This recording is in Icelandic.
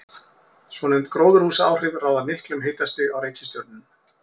Svonefnd gróðurhúsaáhrif ráða miklu um hitastig á reikistjörnunum.